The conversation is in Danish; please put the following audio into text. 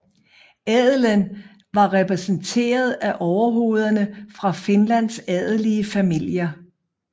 Adelen var repræsenteret af overhovederne for Finlands adelige familier